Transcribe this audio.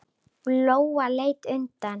Lóa leit undan.